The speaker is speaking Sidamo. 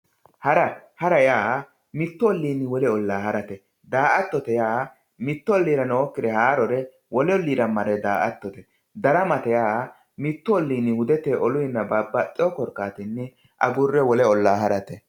Hara yaa mittu oloni wole olaa hara daa`atote yaa mittu olira noikire wolu oliiramare daa`atate daramate yaa mittu olini udeteni woyi babaxitino harate